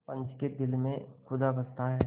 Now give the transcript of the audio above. पंच के दिल में खुदा बसता है